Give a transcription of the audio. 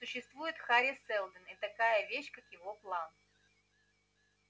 существует хари сэлдон и такая вещь как его план